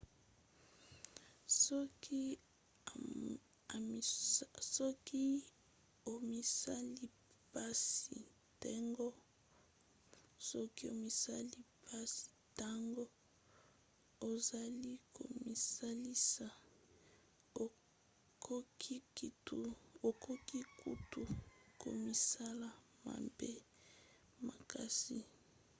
soki omisali mpasi ntango ozali komisalisa okoki kutu komisala mabe makasi